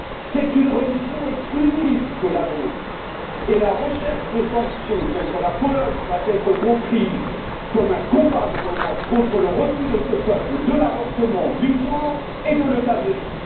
C'est une religion exclusive que la nôtre et la recherche de sanctions contre la Pologne doit être comprise comme un combat de l'Europe contre le refus de ce peuple de l'avortement, du genre et de l'euthanasie.